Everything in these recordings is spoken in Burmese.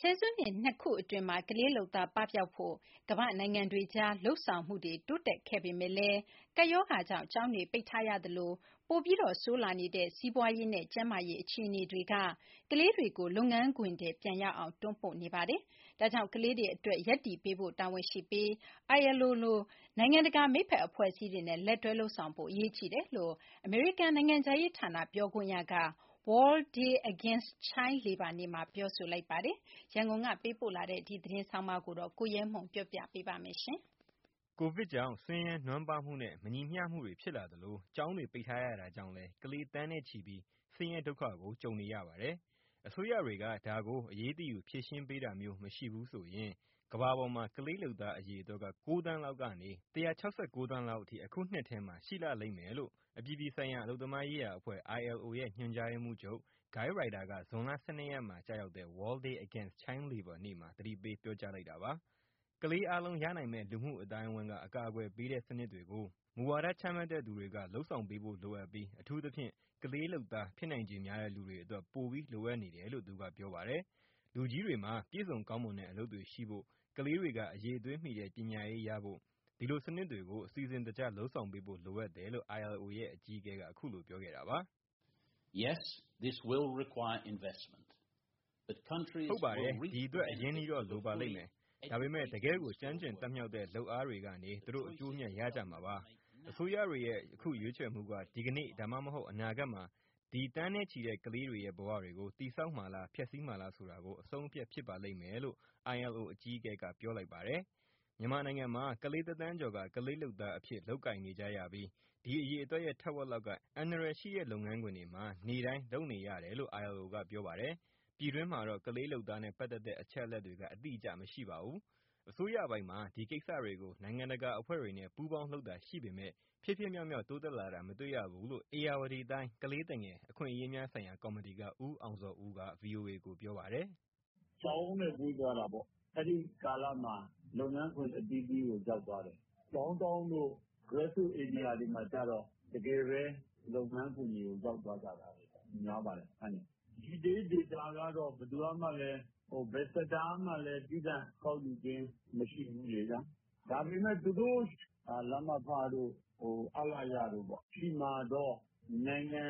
ဆယ်စုနှစ်နှစ်ခုအတွင်းမှာ ကလေးလုပ်သားပပျောက်ဖို့ ကမ္ဘာ့နိုင်ငံတွေအကြား လုပ်ဆောင်မှုတွေ တိုးတက်ခဲ့ပေမဲ့လည်း ကပ်ရောဂါကြောင့် ကျောင်းတွေပိတ်ထားရသလို ပိုမိုဆိုးရွားလာတဲ့ စီးပွားရေးနဲ့ကျန်းမာရေး အခြေအနေတွေက ကလေးတွေကို လုပ်ငန်းခွင်ထဲပြန်ရောက်အောင် တွန်းပို့နေပါတယ်။ ဒါကြောင့် ကလေးတွေအတွက် ရပ်တည်ပေးဖို့တာဝန်ရှိပြီး ILO လို နိုင်ငံတကာ မိတ်ဖက်အဖွဲ့အစည်းတွေနဲ့ လက်တွဲလုပ်ဆောင်ဖို့က အရေးကြီးတယ်လို့ အမေရိကန်နိုင်ငံခြားရေးဌာန ပြောခွင့်ရက World Day Against Child Labor နေ့မှာ ပြောလိုက်ပါတယ်။ ရန်ကုန်ကပေးပို့တဲ့ ဒီသတင်းကိုတော့ ကိုရဲမွန် ပြောပြမှာပါ။ ကိုဗစ်ကြောင့် ဆင်းရဲနွမ်းပါးမှုနဲ့ မညီမျှမှုတွေဖြစ်လာသလို ကျောင်းတွေ ပိတ်ထားရတာကြောင့်လည်း ကလေးသန်းနဲ့ချီပြီး ဆင်းရဲဒုက္ခကို ကြုံနေရပါတယ်။ အစိုးရတွေက ဒါကိုအရေးတယူ ဖြေရှင်းပေးတာမျိုး မရှိဘူးဆိုရင် ကမ္ဘာ့ပေါ်မှာ ကလေးလုပ်သားအရေအတွက်က ၉သန်းလောက်ကနေ ၁၆၉ သန်းလောက်အထိ အခုနှစ်ထဲမှာ ရှိလာလိမ့်မယ်လို့ အပြည်ပြည်ဆိုင်ရာ အလုပ်သမားရေးရာအဖွဲ့ ILO ရဲ့ ညွှန်ကြားရေးမှူးချုပ် Guy Ryder က ဇွန်လ ၁၂ရက်မှာကျရောက်တဲ့ World Day Against Child Labour နေ့မှာ သတိပေးပြောလိုက်တာပါ။ ကလေးအားလုံးရနိုင်မယ့် လူမှုအသိုင်းအဝိုင်းက အကာအကွယ်ပေးတဲ့ စနစ်တွေကို မူဝါဒချမှတ်တဲ့သူတွေက လုပ်ဆောင်ပေးဖို့လိုအပ်ပြီး အထူးသဖြင့် ကလေးလုပ်သား ဖြစ်နိုင်ခြေများတဲ့သူတွေအတွက် ပိုပြီးလိုအပ်နေတယ်လို့ သူကပြောပါတယ်။ လူကြီးတွေမှာ ပြည့်စုံကောင်းမွန်တဲ့ အလုပ်တွေရှိဖို့၊ ကလေးတွေက အရည်အသွေးမီတဲ့ ပညာရေးရဖို့ ဒီလို (Social Protection) စနစ်တွေကို အစီစဉ်တကျ လုပ်ဆောင်ပေးဖို့ လိုအပ်တယ်လို့ ILO ရဲ့အကြီးအကဲက အခုလိုပြောခဲ့တာပါ။ " ဟုတ်ပါတယ်၊ ဒီအတွက် အရင်းအနှီးတော့ လိုပါလိမ့်မယ်၊ ဒါပေမဲ့ တကယ့်ကို ကျွမ်းကျင်၊ တတ်မြောက်တဲ့ လုပ်အားတွေကနေ သူတို့ အကျိုးအမြတ်ရကြမှာပါ။ အစိုးရတွေရဲ့ အခုရွေးချယ်မှုက ဒီနေ့ ဒါမှမဟုတ် အနာဂတ်မှာ ဒီသန်းနဲ့ချီတဲ့ ကလေးတွေရဲ့ဘဝတွေကို တည်ဆောက်မှာလား၊ ဖျက်စီးမှာလားဆိုတာ အဆုံးအဖြတ် ဖြစ်ပါလိမ့်မယ်။" မြန်မာနိုင်ငံမှာ ကလေးတသန်းကျော်က ကလေးလုပ်သားအဖြစ် လုပ်ကိုင်နေကြပြီး ဒီအရေအတွက်ရဲ့ ထက်ဝက်လောက်က အန္တရာယ်ရှိတဲ့ လုပ်ငန်းခွင်တွေမှာ နေ့တိုင်း လုပ်နေရတယ်လို့ ILO က ပြောပါတယ်။ ပြည်တွင်းမှာတော့ ကလေးလုပ်သားနဲ့ ပတ်သက်တဲ့ အချက်အလက်တွေက အတိအကျမရှိပါဘူး။ အစိုးရပိုင်းမှာ ဒီကိစ္စတွေကို နိုင်ငံတကာအဖွဲ့တွေနဲ့ ပူးပေါင်းလုပ်တာရှိပေမဲ့ ဖြစ်ဖြစ်မြောက်မြောက် တိုးတက်လာတာ မတွေ့ရဘူးလို့ ဧရာဝတီတိုင်း ကလေးသူငယ် အခွင့်အရေးများဆိုင်ရာကော်မတီက ဦးအောင်ဇော်ဦးက ဗွီအိုအေကိုပြောပါတယ်။ " ကျောင်းနဲ့ဝေးသွားတာပေါ့ အဲဒီကာလမှာ လုပ်ငန်းခွင်အသီးသီးကို ရောက်သွားတယ်။ downtown တို့ traffic area တွေမှာကျ တကယ်ပဲ လုပ်ငန်းခွင်တွေဆီ ရောက်သွားကြတာ များပါတယ် မှန်တယ်။ Detail data ကတော့ ဘယ်သူကမှလည်း ဘယ်sectorကမှလည်း သီးသန့်ကောက်ယူခြင်း မရှိဘူးလေဗျာ။ ဒါပေမဲ့သူတို့ သူတို့ လမဖတို့၊ အလရတို့ဆီမှာတော့ နိုင်ငံ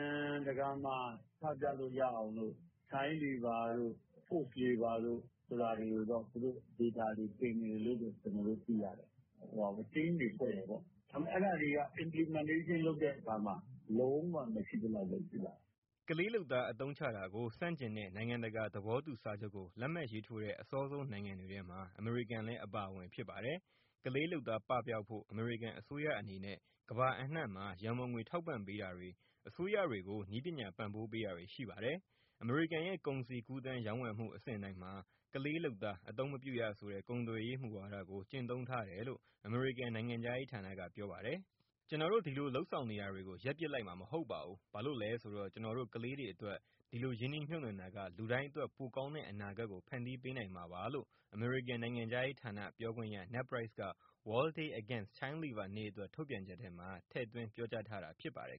တကာမှာ ချပြလို့ရအောင်လို့ child lobour တို့ forced labour တို့ဆိုတာတွေကိုတော့ သူတို့ data တင်တယ်လို့ ကျနော်တို့ သိရတယ် team တွေဖွဲ့တယ်ပေါ့။ ဒါပေမဲ့ အဲဒါတွေက implementation (ကနဦးလုပ်ငန်းရေးဆွဲတဲ့အဆင့်) လုပ်တဲ့အခါမှာ လုံးဝမရှိသလောက်ပဲ ရှိပါတယ်။" ကလေးလုပ်သားအသုံးချတာကို ဆန့်ကျင်တဲ့ နိုင်ငံတကာ သဘောတူစာချုပ်ကို လက်မှတ်ရေးထိုးတဲ့ အစောဆုံးနိုင်ငံတွေထဲမှာ အမေရိကန်လည်း အပါဝင်ဖြစ်ပါတယ်။ ကလေးလုပ်သား ပပျောက်ဖို့ အမေရိကန်အစိုးရအနေနဲ့ ကမ္ဘာအနှံ့မှာ ရံပုံငွေထောက်ပံ့ပေးတာတွေ၊ အစိုးရတွေကို နည်းပညာပံ့ပိုးပေးတာတွေ ရှိပါတယ်။ အမေရိကန်ရဲ့ ကုန်စည်ကူးသန်း ရောင်းဝယ်မှု အဆင့်တိုင်းမှာ ကလေးလုပ်သား အသုံးမပြုရဆိုတဲ့ ကုန်သွယ်ရေးမူဝါဒကို ကျင့်သုံးထားတယ်လို့ အမေရိကန် နိုင်ငံခြားရေးဌာနက ပြောပါတယ်။ ' ကျနော်တို့ ဒီလိုလုပ်ဆောင်နေတာတွေကို ရပ်ပစ်လိုက်မှာ မဟုတ်ပါဘူး၊ ဘာလို့လဲဆိုတော့ ကျနော်တို့ ကလေးတွေအတွက် ဒီလိုရင်းနှီးမြှုပ်နှံတာက လူတိုင်းအတွက် ပိုကောင်းတဲ့အနာဂတ်ကို ဖန်တီးပေးနိုင်မှာပါ' လို့ အမေရိကန် နိုင်ငံခြားရေးဌာနပြောခွင့်ရ Ned Price က World Day Against Child Labor နေ့အတွက် ထုတ်ပြန်ချက်ထဲမှာ ပြောထားတာဖြစ်ပါတယ်